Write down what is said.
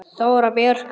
Þóra Björg.